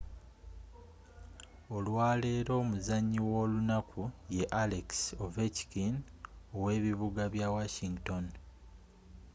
olwaleero omuzanyi w'olunaku ye alex ovechkin ow'ebibuga bya washington